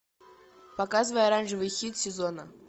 показывай оранжевый хит сезона